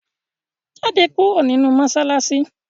Jáde kúrò nínú mọ́ṣáláṣí!